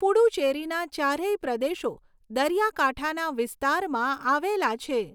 પુડુચેરીના ચારેય પ્રદેશો દરિયાકાંઠાના વિસ્તારમાં આવેલા છે.